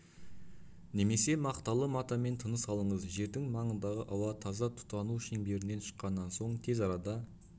немесе мақталы матамен тыныс алыңыз жердің маңындағы ауа таза тұтану шеңберінен шыққаннан соң тез арада